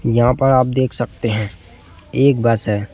यहां पर आप देख सकते हैं एक बस है।